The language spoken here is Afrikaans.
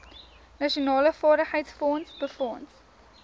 nasionale vaardigheidsfonds befonds